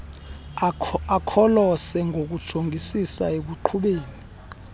akholose ngokujongisisa ekuqhubeni